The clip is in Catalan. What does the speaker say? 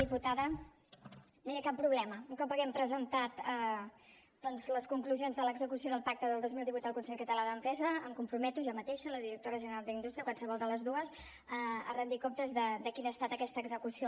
diputada no hi ha cap problema un cop haguem presentat doncs les conclusions de l’execució del pacte del dos mil divuit al consell català de l’empresa em comprometo jo mateixa la directora general d’indústria o qualsevol de les dues a rendir comptes de quina ha estat aquesta execució